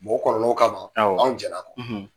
Bɔgɔ kɔrɔlenw kama , anw jɛla a kɔ.